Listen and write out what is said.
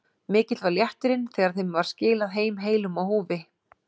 Mikill var léttirinn þegar þeim var skilað heim heilum á húfi.